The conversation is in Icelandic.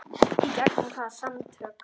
Í gegnum hvaða samtök?